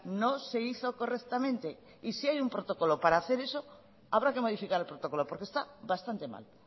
no se hizo correctamente y si hay un protocolo para hacer eso habrá que modificar el protocolo porque está bastante mal